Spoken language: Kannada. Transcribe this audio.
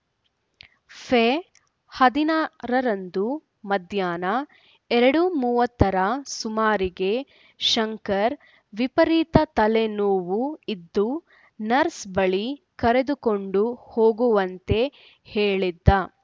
ಫೆ ಹದಿನಾರರಂದು ಮಧ್ಯಾಹ್ನ ಎರಡು ಮೂವತ್ತರ ಸುಮಾರಿಗೆ ಶಂಕರ್‌ ವೀಪರಿತ ತಲೆ ನೋವು ಇದ್ದು ನರ್ಸ್‌ ಬಳಿ ಕರೆದುಕೊಂಡು ಹೋಗುವಂತೆ ಹೇಳಿದ್ದ